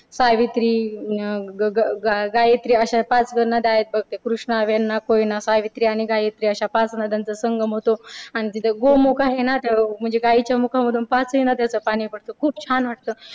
सावित्री अं ग अह गायत्री अशा पाच नद्या आहेत बघ. त्या कृष्णा वेण्णा कोयना सावित्री आणि गायत्री अशा पाच नद्यांचा संगम होतो. आणि आणि तिथे गोमूख आहे ना गाईच्या मुखामधून पाचही नद्यांचं पाणी पंडत. खूप छान वाटतं.